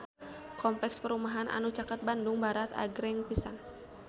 Kompleks perumahan anu caket Bandung Barat agreng pisan